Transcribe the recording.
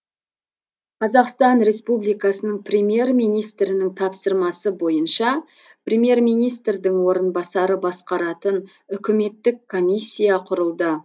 қазақстан республикасының премьер министрінің тапсырмасы бойынша премьер министрдің орынбасары басқаратын үкіметтік комиссия құрылды